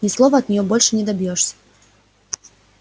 ни слова от нее больше не добьёшься